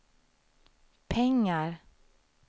pengar